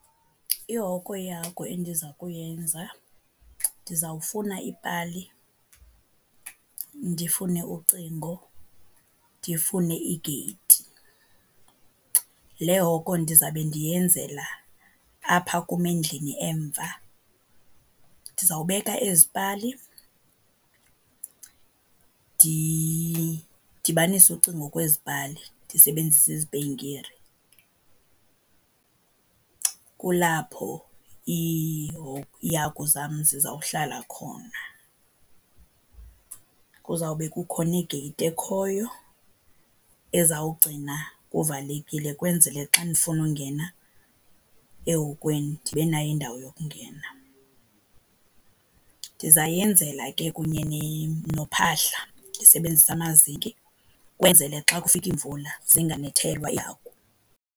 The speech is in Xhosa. Ihoko yeehagu endiza kuyenza, ndizawufuna iipali, ndifune ucingo, ndifune igeyithi. Le hoko ndizabe ndiyenzela apha kum endlini emva. Ndizawubeka ezi pali, ndidibanise ucingo kwezi pali ndisebenzisa izipenkire. Kulapho iihagu zam zizawuhlala khona. Kuzawube kukhona igeyithi ekhoyo ezawugcina kuvalekile ukwenzele xa ndifuna ungena ehokweni ndibe nayo indawo yokungena. Ndizayenzela ke kunye nophahla ndisebenzisa amazinki, ukwenzele xa kufika iimvula zinganethelwa iihagu.